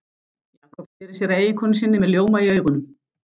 Jakob sneri sér að eiginkonu sinni með ljóma í augunum.